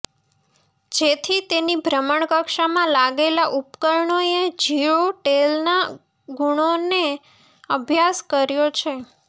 જેથી તેની ભ્રમણ કક્ષામાં લાગેલાં ઉપકરણોએ જિયોટેલના ગુણોનો અભ્યાસ કર્યો છે